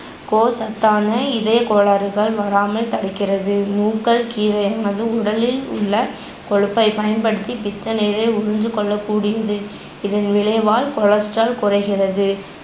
கோ~ சத்தான இதயகோளாறுகள் வராமல் தடுக்கிறது. நூக்கள் கீரையானது உடலில் உள்ள கொழுப்பை பயன்படுத்தி பித்த நீரை உறிந்துகொள்ளகூடியது, இதன் விளைவால் cholesterol குறைகிறது